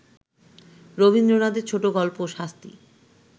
রবীন্দ্রনাথের ছোটগল্প শাস্তি